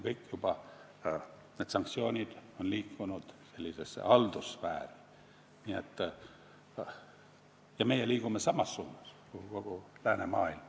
Kõik need sanktsioonid on juba liikunud haldussfääri ja meie liigume samas suunas kui kogu läänemaailm.